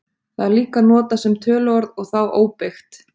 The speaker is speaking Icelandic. Það er líka notað sem töluorð og þá óbeygt.